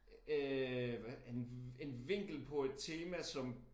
Øh hvad en en vinkel på et tema som